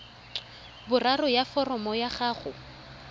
boraro ya foromo ya gago